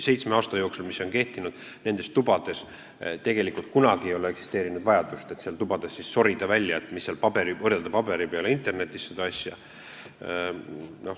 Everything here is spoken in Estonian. Seitsme aasta jooksul, kui see nõue on kehtinud, ei ole olnud vajadust seal tubades sorida ning võrrelda seda asja paberi peal ja internetis.